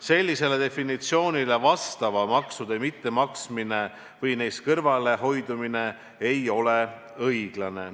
Sellisele definitsioonile vastavate maksude mittemaksmine või neist kõrvalehoidmine ei ole õiglane.